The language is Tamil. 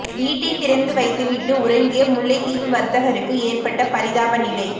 வீட்டை திறந்து வைத்துவிட்டு உறங்கிய முல்லைத்தீவு வர்த்தகருக்கு ஏற்பட்ட பரிதாப நிலை